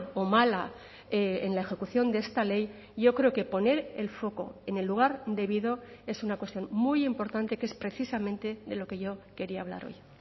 o mala en la ejecución de esta ley yo creo que poner el foco en el lugar debido es una cuestión muy importante que es precisamente de lo que yo quería hablar hoy